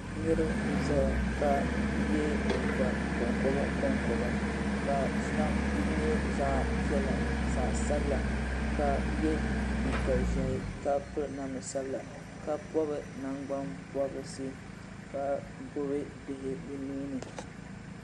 Niriba n zaya ka yɛ liiga kon koba Kon koba ka shɛŋa nyɛ zaɣi piɛla zaɣi sabila ka yɛ liiga zɛhi ka piri namda sabila ka pɔbi nangbani pɔbirisi ka gbubi bihi bi nuu ni.